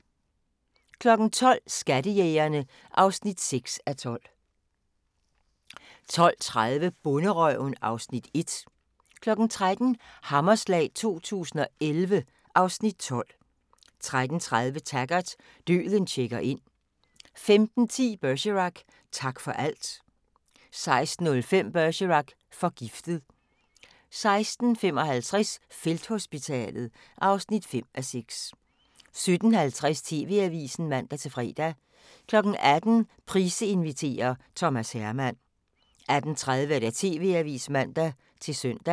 12:00: Skattejægerne (6:12) 12:30: Bonderøven (Afs. 1) 13:00: Hammerslag 2011 (Afs. 12) 13:30: Taggart: Døden checker ind 15:10: Bergerac: Tak for alt 16:05: Bergerac: Forgiftet 16:55: Felthospitalet (5:6) 17:50: TV-Avisen (man-fre) 18:00: Price inviterer - Thomas Herman 18:30: TV-Avisen (man-søn)